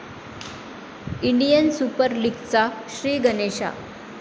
Indian super लीगचा 'श्रीगणेशा'